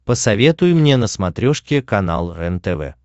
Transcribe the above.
посоветуй мне на смотрешке канал рентв